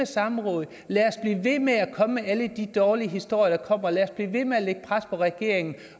samråd lad os blive ved med at komme med alle de dårlige historier lad os blive ved med at lægge pres på regeringen